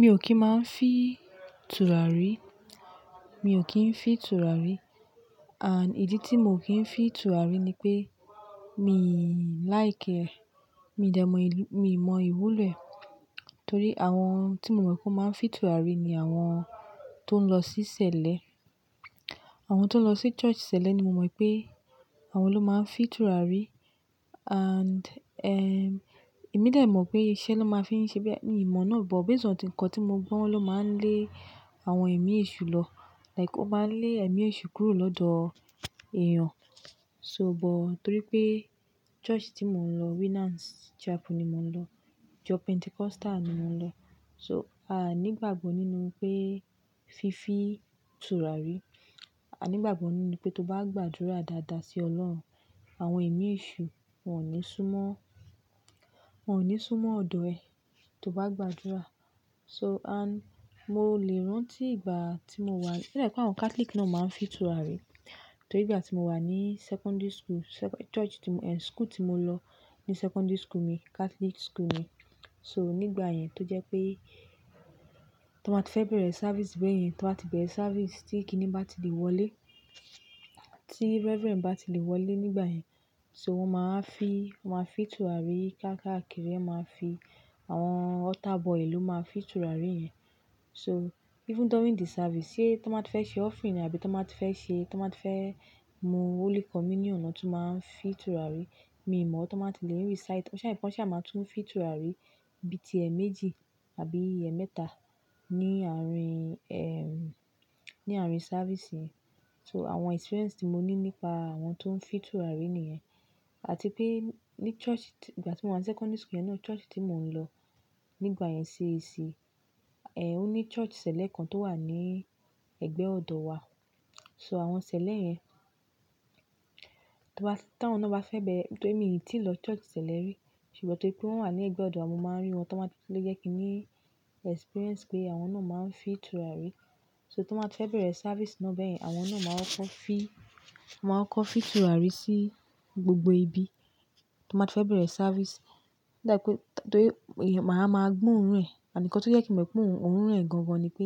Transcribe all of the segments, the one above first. Mi ò kí ń máa ń fi tùràrí, mi ò kí ń fin tùràrí and ìdí tí mo ò kí ń fi tùràrí ni pé mi like e. Mi dà mọ ìlú-- mi mọ ìwúlò ẹ̀ torí àwọn tí mo mọ̀ pé wọ́n máa ń fi tùràrí ni àwọn tó ń lọ sí sẹlẹ. Àwọn tó ń lọ sí church sẹlẹ ni mo mọ̀ pé àwọn ló máa ń fin tùràrí and, ehm, èmi dẹ mọ̀ pé iṣẹ́ na máa ń fi ń ṣe bí, mii mọ̀ náà o bọ̀. Base on nkan tí mo gbọ́ wọ́n ló máa ń lé àwọn ẹ̀mí èṣù lọ. Like ó máa ń lé ẹ̀mí èṣù kúrò lọ́dọ̀ èèyàn. So but torí pé church tí mò ń lọ, Winners Chapel ni mò ń lọ. Church Pentecostal ni mò ń lọ. So a nígbàgbọ nínú pé fi fi tùràrí, a nígbàgbọ nínú pé tó bá gbàdúrà dáadáa sí Ọlọ́run, àwọn ẹ̀mí èṣù wọ́n ò ní súnmọ́, wọ́n ò ní súnmọ́ ọ̀dọ̀ ẹ tó bá gbàdúrà. So and mo lè rántí ìgbà tí mo wà, o dàbí pé àwọn Catholic náà máa ń fi tùràrí. Torí ìgbà tí mo wà ní secondary school, se- church tí mò ń, eh, school tí mo lọ ní secondary school mi, Catholic school mi. So nígbà yẹn tó jẹ́ pé tó bá ti fẹ́ bẹ̀rẹ̀ service gbẹ̀yìn, tán bá ti bẹ̀rẹ̀ service tí kíní bá ti lè wọlé, tí reverend bá ti lè wọlé nígbà yẹn, so wọ́n máa ń fi, wọ́n máa fi tùràrí ká káàkiri, máa ń fi àwọn altar boy ló máa ń fi tùràrí yẹn. So even during the service, sé tó bá ti fẹ́ ṣe offering àbí tán bá ti fẹ́ ṣe, tán bá ti fẹ́ mu holy communion náà tún máa ń fi tùràrí. Mi mọ̀ tó má ti lè ń recite ọṣa ifọ́nṣá máa tún ń fi tùràrí bí i ti ẹ̀ẹ̀mejì àbí ẹẹmẹ́ta ní àárín, ehm, ní àárín service yẹn. So àwọn experience tí mo ní nípa àwọn tó ń fi tùràrí nìyẹn. Àti pé ní church tí ìgbà tí mo wà ní secondary school yẹn náà, church tí mò ń lọ nígbà yẹn CAC. Ẹ̀h, ó ní church sẹlẹ kan tó wà ní ẹ̀gbẹ́ ọ̀dọ̀ wa. So àwọn ṣẹlẹ̀ yẹn, tán bá ti, tí àwọn náà bá fẹ́ bẹ̀rẹ̀, torí mi ò tí ì lọ church sẹlẹ rí. Ṣùgbọ́n torí pé wọ́n wà ní ẹ̀gbẹ́ ọ̀dọ̀ wa, mo máa ń rí wọn. Tọ bá ti le jẹ́ kí n ní experience pé àwọn náà máa ń fi tùràrí. So tán bá ti fẹ́ bẹ̀rẹ̀ service náà bẹ́yìn, àwọn náà máa kọ́kọ́ fi, máa kọ́ fi tùràrí sí gbogbo ibi tó má ti fẹ́ bẹ̀rẹ̀ service. It's like pé torí ìyẹn, màá máa gbó òórùn ẹ̀. And nkan tó jẹ́ kín mọ̀ pé òórùn ẹ̀ gan gan ni pé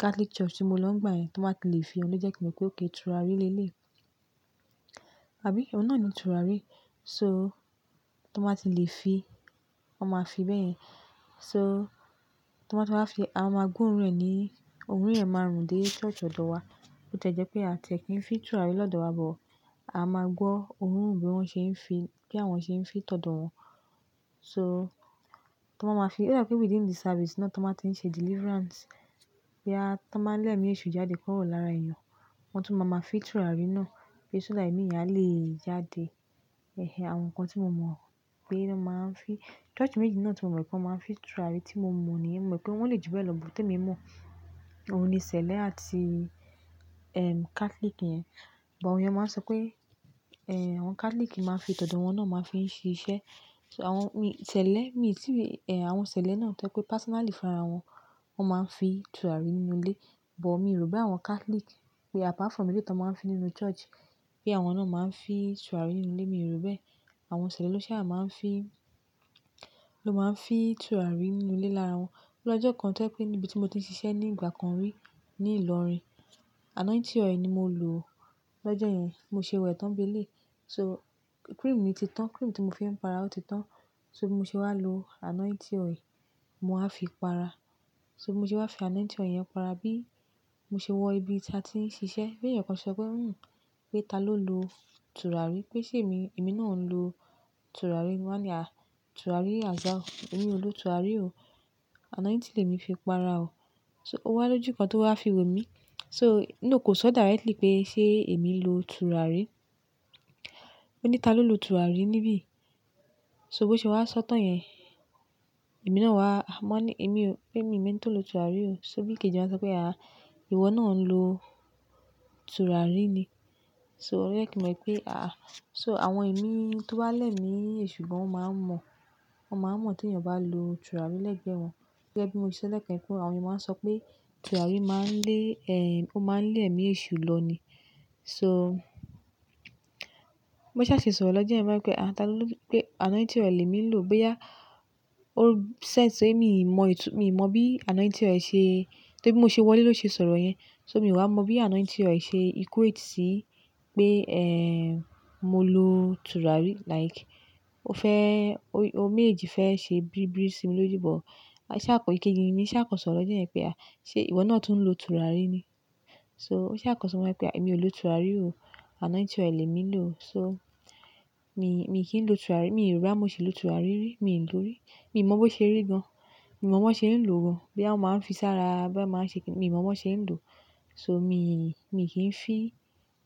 Catholic Church tí mo lọ nígbà yẹn, tó bá ti lè fi, òun ló jẹ́ kí mo mọ̀ pé okay tùràrí le lé i. Àbí? Òun náà ni tùràrí. So tó bá ti lè fi, wọ́n máa fi bẹ́yìn. So tó bá ti wá fi, a máa gbó òórùn ẹ̀ ni òórùn ẹ̀ máa rùn dé church ọ̀dọ̀ wa. Bó tìẹ jẹ́ pé a tìẹ kí ń fi tùràrí lọ́dọ̀ wa bọ̀, a máa gbọ́ òórùn bí wọ́n ṣe ń fi, bí àwọn ṣe ń fi tọ̀dọ̀ wọn. So tó bá máa fi, oda i pé within the service náà tó bá ti ń ṣe deliverance. Bóyá, tó bá ń lé ẹ̀mí èṣù jáde kúrò lára èèyàn, wọ́n tún máa máa fi tùràrí náà. Ẹ̀h, so that ẹ̀mí yẹn a lè jáde. Ẹ̀hẹ̀n, àwọn nǹkan tí mo mọ̀ pé wọ́n máa ń fi-- church méjì náà tí mo mọ̀ pé wọ́n máa ń fi tùràrí tí mo mọ̀ ni. Mo mọ̀ pé wọ́n le ju bẹ́ẹ̀ lọ, but èyí tí mo mọ̀ òun ni sẹlẹ àti, ehm, Catholic yẹn. But àwọn èèyàn máa ń sọ pé, eh, àwọn Catholic máa ń fi tọ̀dọ̀ wọn náà máa ń fi ń ṣe iṣẹ́. So àwọn mi sẹlẹ, mi ò tí ì, eh, àwọn ṣẹlẹ̀ náà tẹ́ pé personally fún ara wọn, wọ́n máa ń fi tùràrí nínú ilé. But mi rò pé àwọn Catholic pé apart from eléyìí tí wọ́n máa ń fi nínú church, pé àwọn náà máa ń fi tùràrí nínú ilé, mi ò rò bẹ́ẹ̀. Àwọn sẹlẹ ló ṣaba máa ń fi, ló máa ń fi tùràrí nínú ilé lára wọn. Lọ́jọ́ kan tẹ́ pé níbi tí mo ti ṣiṣẹ́ ní ìgbà kan rí ní Ìlọrin. Anointing oil ni mo lò lọ́jọ́ yẹn. Mo ṣe wẹ̀ tán bi eléyi. So cream mi ti tán, cream tí mo fi ń para ó ti tán. So mo ṣe wá lo anointing oil, mo wa fi para. So mo ṣe wá fi anointing oil yẹn para bí mo ṣe wọ ibi tí a ti ń ṣiṣẹ́. Bí èèyàn kan ṣọ pé, "Hmm, pé ta ló lo tùràrí?" Pé, "Ṣé èmi, èmi náà ń lo tùràrí?" Mo wá ní, "À, tùràrí as how? Èmi ò lo tùràrí o. Anointing lemi fi para o." So ó wá lójú kan tó wá fi wò mí. So no kò sọ directly pé ṣé èmi lo tùràrí. Ó ní, "Ta ló lo tùràrí níbí yìí?" So bó ṣe wá sọ́ tán yẹn, èmi náà wá, a mọ ní, "Èmi o, pé mi, mi mọ ẹń to lo tùràrí o." So bí ike jẹ́ wọ́n sọ pé, "À, ìwọ náà ń lo tùràrí ni." So ó jẹ́ kí mo mọ̀ pé àá. So àwọn ẹ̀mí tó bá lẹ́mi èṣù, bí wọ́n máa ń mọ̀, wọ́n máa ń mọ̀ tí èèyàn bá lo tùràrí lẹ́gbẹ̀ẹ́ wọn. Gẹ́gẹ́ bí mo ṣe sọ lẹ́ẹ̀kan yẹn pé àwọn èèyàn máa ń sọ pé tùràrí máa ń lé, eh, ó máa ń lé ẹ̀mí èṣù lọ ni. So bó ṣa ṣe sọ̀rọ̀ lọ́jọ́ yẹn, mo mọ̀ pé ta ló, pé anointing oil lemi lò bóyá ó sense pé mi mọ ìtú, mi mọ bí anointing oil ṣe, torí bí mo ṣe wọlé ló ṣe sọ̀rọ̀ yẹn. So mi wá mọ bí anointing oil ṣe equate sí pé, eh, mo lo tùràrí. Like ó fẹ́, ó, ó méjèèjì fẹ́ ṣe bíribíri sí mi lójú, but a ṣà kọ, ìkejì mi ṣà kan sọ̀rọ̀ lọ́jọ́ yẹn pé à, "Ṣé ìwọ náà tún lo tùràrí ni?" So mó ṣà kan sọ wọ́n pé, "Èmi ò lo tùràrí o. Anointing oil mi lò o." So mi, mi kí ń lo tùràrí, mi wa ro bóyá ti lo tùràrí rí, mi ò lò rí. Mi ò mọ bó ṣe rí gan. Mi ò mọ bó ṣe ń lò gan. Bóyá wọn máa ń fi sára, bí wọ́n máa ń ṣe kí ni, mi ò mọ bí wọ́n ṣe ń lò. So mi, mi kì í fi.